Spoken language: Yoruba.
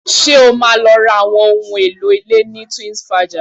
Ṣé o máa lọ ra àwọn ohun èlò ilé ní Twinsfaja?